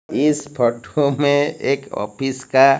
इस फोटो में एक ऑफिस का--